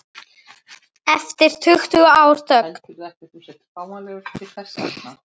Eftir tuttugu ára þögn